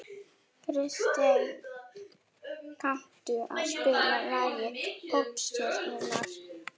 Kristey, kanntu að spila lagið „Poppstjarnan“?